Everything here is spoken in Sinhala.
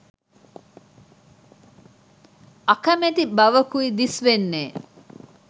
අකමැති බවකුයි දිස්වෙන්නේ